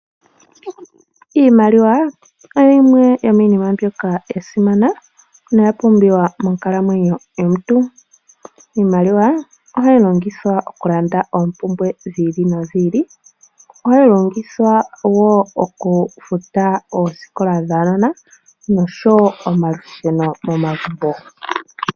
Iimaliwa oyimwe yomiinima mbyoka ya simana noya pumbiwa monkalamwenyo yomuntu, iimaliwa ohayi longithwa okulanda oompumbwe dhi ili nodhi ili ohayi longithwa wo okufuta oosikola dhaanona noshowo omalusheno momagumbo.